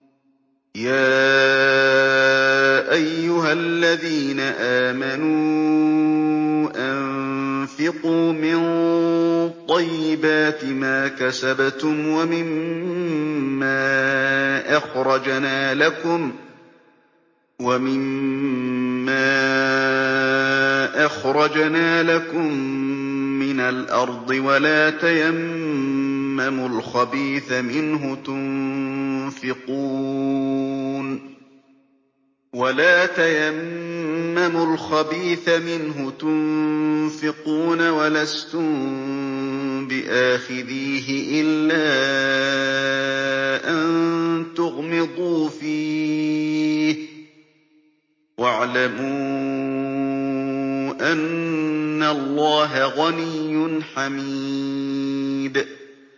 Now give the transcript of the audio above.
يَا أَيُّهَا الَّذِينَ آمَنُوا أَنفِقُوا مِن طَيِّبَاتِ مَا كَسَبْتُمْ وَمِمَّا أَخْرَجْنَا لَكُم مِّنَ الْأَرْضِ ۖ وَلَا تَيَمَّمُوا الْخَبِيثَ مِنْهُ تُنفِقُونَ وَلَسْتُم بِآخِذِيهِ إِلَّا أَن تُغْمِضُوا فِيهِ ۚ وَاعْلَمُوا أَنَّ اللَّهَ غَنِيٌّ حَمِيدٌ